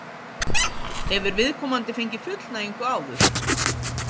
Hefur viðkomandi fengið fullnægingu áður?